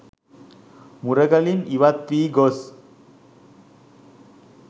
මුරගලින් ඉවත් වී ගොස්